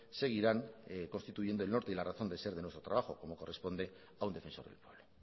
seguirán constituyendo el norte y la razón de ser de nuestro trabajo como corresponde a un defensor del pueblo